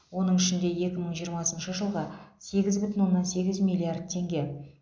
оның ішінде екі мың жиырмасыншы жылға сегіз бүтін оннан сегіз миллиард теңге